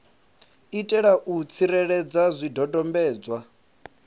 itela u vha tsireledza zwidodombedzwa